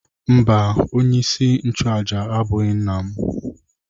Mba, onyeisi nchụàjà abụghị nna m.